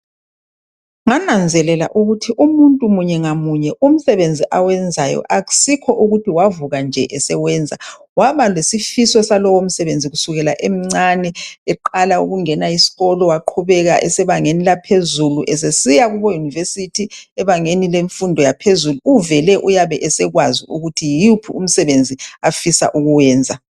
Ngananzelela ukuthi umuntu munye ngamunye umsebenzi awenzayo akusikho wavuka esewenza waba lesifiso salowo msebenzi kusukisela esemnane eqala ukungena esikolo waqhubeka ebangeni laphezulu esiya Kubo university ebangeni lemfundo yaphezulu uvele ekwazi ukuthi yiwuphi umsebenzi afisa ukuwenza